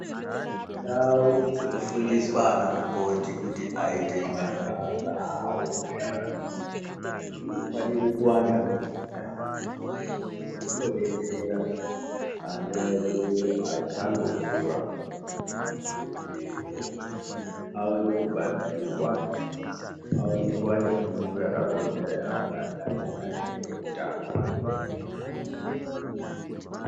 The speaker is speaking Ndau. Ndau dzinofundiswa ana mukoti kuti aite mabasa avo dzinofanire kuwanda munyika. Zvinobetsera ana edu achango kura kuti aone kubatsirwa aone kuvana fundo yakakodzerera yanga dai iri maringe ngeitano.